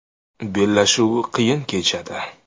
Bellashuv qiyin kechadi.